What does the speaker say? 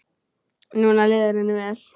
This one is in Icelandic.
Núna líður henni vel.